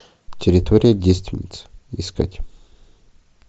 территория девственниц искать